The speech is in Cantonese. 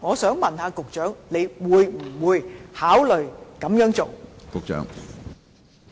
請問局長會不會考慮這樣做呢？